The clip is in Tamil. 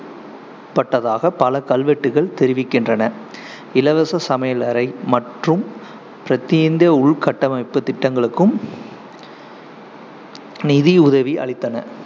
பட்டதாக பல கல்வெட்டுகள் தெரிவிக்கின்றன. இலவச சமயலறை மற்றும் உள்கட்டமைப்பு திட்டங்களுக்கும் நிதி உதவி அளித்தன